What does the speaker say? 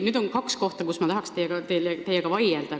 Siin oli kaks kohta, mille üle ma tahan teiega vaielda.